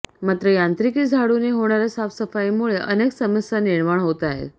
मात्र यांत्रिकी झाडूने होणार्या साफसफाईमुळे अनेक समस्या निर्माण होत आहेत